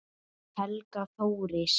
Helga Þóris.